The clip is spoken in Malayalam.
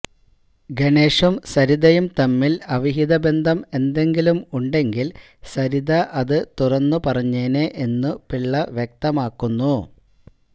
ഗണേശും സരിതയും തമ്മിൽ അവിഹിത ബന്ധം എന്തെങ്കിലും ഉണ്ടെങ്കിൽ സരിത അത് തുറന്നു പറഞ്ഞേനേ എന്നു പിള്ള വ്യക്തമാക്കുന്നു